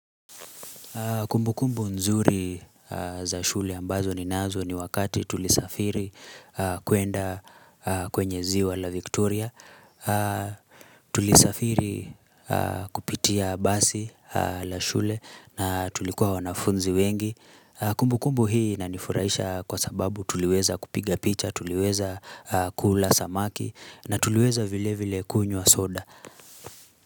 Kumbu kumbu nzuri za shule ambazo ni nazo ni wakati tulisafiri kwenda kwenye ziwa la Victoria. Tulisafiri kupitia basi la shule na tulikuwa wanafunzi wengi. Kumbu kumbu hii inanifuraisha kwa sababu tuliweza kupiga picha, tuliweza kula samaki na tuliweza vile vile kunywa soda.